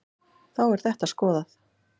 Þá er þetta skoðað.